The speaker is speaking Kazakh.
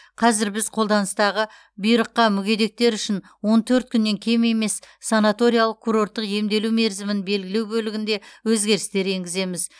қазір біз қолданыстағы бұйрыққа мүгедектер үшін он төрт күннен кем емес санаториялық курорттық емделу мерзімін белгілеу бөлігінде өзгерістер енгіземіз